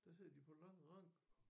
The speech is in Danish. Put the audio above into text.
Der sidder de på lange ranker